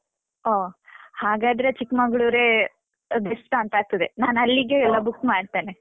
ಓ ಹಾಗಾದ್ರೆ ಚಿಕ್ಮಂಗ್ಳೂರೇ best ಆ ಅಂತಾಗ್ತದೆ. ನಾನಲ್ಲಿಗೇ. book ಮಾಡ್ತೇನೆ.